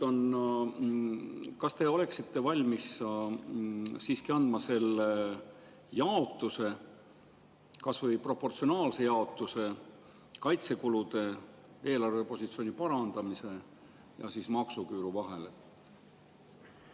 Kas te oleksite valmis siiski andma selle jaotuse, kas või proportsionaalse jaotuse kaitsekulude, eelarvepositsiooni parandamise ja maksuküüru vahel?